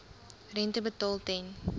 rente betaal ten